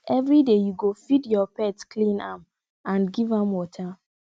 every day you go feed your pet clean am and give am water